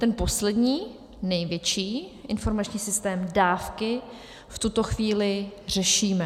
Ten poslední, největší informační systém Dávky v tuto chvíli řešíme.